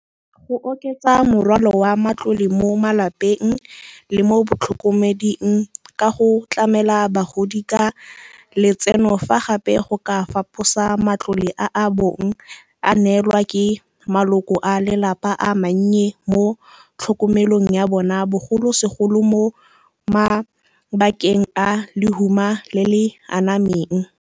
Go oketsa morwalo wa matlole mo malapeng le mo batlhokomeding ka go tlamela bagodi ka letseno, fa gape go ka faposa matlole a a bong a neelwa ke maloko a lelapa a mannye mo tlhokomelong ya bona, bogolosegolo mo mabakeng a lehuma le le anameng.